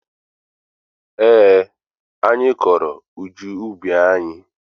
Eé, anyị kọrọ ụgụ n'ubi anyị.